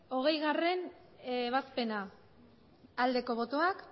hogeigarrena ebazpena aldeko botoak